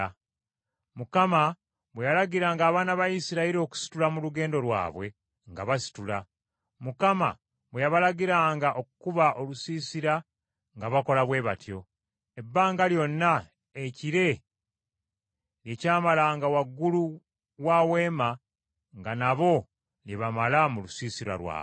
Mukama bwe yalagiranga abaana ba Isirayiri okusitula mu lugendo lwabwe, nga basitula; Mukama bwe yabalagiranga okukuba olusiisira nga bakola bwe batyo. Ebbanga lyonna ekire lye kyamalanga waggulu wa Weema nga nabo lye bamala mu lusiisira lwabwe.